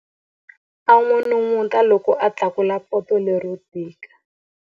A n'unun'uta loko a tlakula poto lero tika.